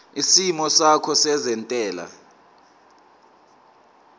isimo sakho sezentela